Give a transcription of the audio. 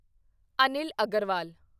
Anil Agarwal